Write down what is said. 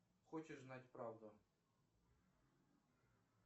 хочешь знать правду